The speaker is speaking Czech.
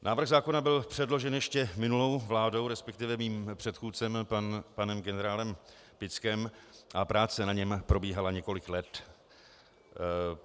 Návrh zákona byl předložen ještě minulou vládou, respektive mým předchůdcem panem generálem Pickem, a práce na něm probíhala několik let.